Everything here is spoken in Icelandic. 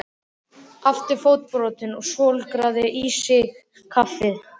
Aftur fótbrotinn og svolgraði í sig kaffið.